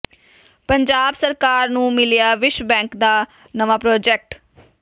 ਪੰਜਾਬ ਸਰਕਾਰ ਨੂੰ ਮਿਲਿਆ ਵਿਸ਼ਵ ਬੈਂਕ ਦਾ ਨਵਾਂ ਪ੍ਰਾਜੈਕਟ